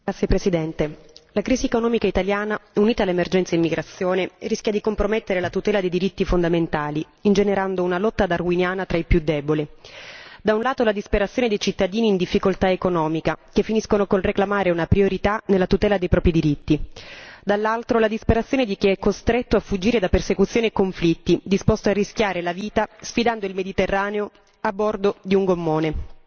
Signor Presidente, onorevoli colleghi, la crisi economica italiana unita all'emergenza immigrazione rischia di compromettere la tutela di diritti fondamentali ingenerando una lotta darwiniana tra i più deboli da un lato, la disperazione dei cittadini in difficoltà economica, che finiscono col reclamare una priorità nella tutela dei propri diritti, dall'altro, la disperazione di chi è costretto a fuggire da persecuzioni e conflitti, disposto a rischiare la vita sfidando il Mediterraneo a bordo di un gommone.